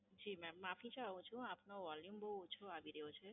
જી madam, માફી ચાહું છું, આપનો Volume બહુ ઓછો આવી રહ્યો છે.